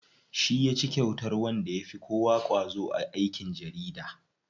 Shi yaci kyautar wanda yafi kowa ƙwazo a aikin jarida.